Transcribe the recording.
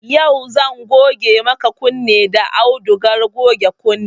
Yau zan goge maka kunne da audugar goge kunne